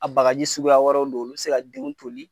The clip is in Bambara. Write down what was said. A bagaji suguya wɛrɛw don olu se ka denw toli